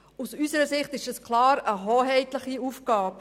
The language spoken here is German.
Aus unserer Sicht handelt es sich klar um eine hoheitliche Aufgabe.